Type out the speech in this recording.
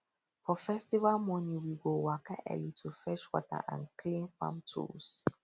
for festival morning we go wake early to fetch water and clean farm tools